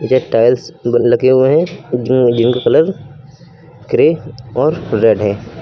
ये टाइल्स लगे हुए जो इनके कलर ग्रे और रेड है।